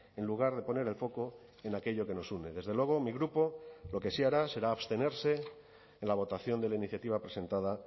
en lugar de poner el foco en aquello que nos une desde luego mi grupo lo que sí hará será abstenerse en la votación de la iniciativa presentada